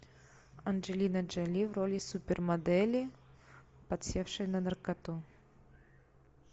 анджелина джоли в роли супермодели подсевшей на наркоту